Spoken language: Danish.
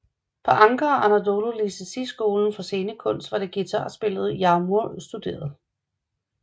På Ankara Anadolu Lisesi skolen for scenekunst var det guitarspillet Yagmur studerede